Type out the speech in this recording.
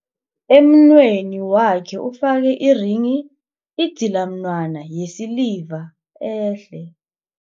Emunweni wakhe ufake irenghi, idzilamunwana yesiliva ehle.